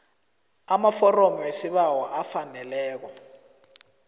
amaforomo wesibawo afaneleko